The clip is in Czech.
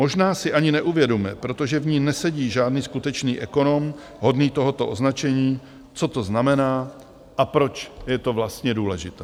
Možná si ani neuvědomuje, protože v ní nesedí žádný skutečný ekonom hodný tohoto označení, co to znamená a proč je to vlastně důležité.